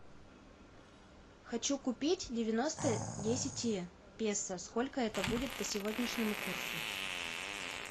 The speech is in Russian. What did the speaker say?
хочу купить девяносто десять песо сколько это будет по сегодняшнему курсу